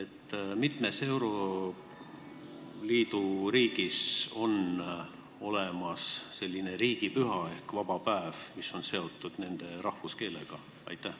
Kui mitmes euroliidu riigis on olemas selline riigipüha ehk vaba päev, mis on seotud nende rahvuskeelega?